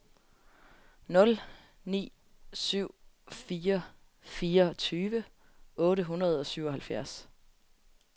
nul ni syv fire fireogtyve otte hundrede og syvoghalvtreds